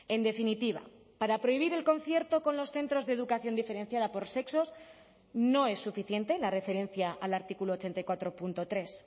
en definitiva para prohibir el concierto con los centros de educación diferenciada por sexos no es suficiente la referencia al artículo ochenta y cuatro punto tres